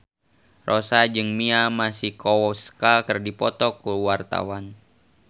Rossa jeung Mia Masikowska keur dipoto ku wartawan